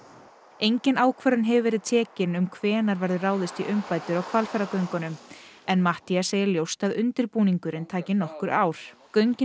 engin ákvörðun hefur verið tekin um hvenær verður ráðist í umbætur á Hvalfjarðargöngum en Matthías segir ljóst að undirbúningurinn taki nokkur ár göngin